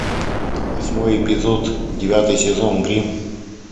восьмой эпизод девятый сезон гримм